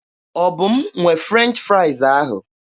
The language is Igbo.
Ọ bụ m nwe French fraịz ahụ?